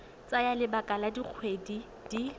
tsaya lebaka la dikgwedi di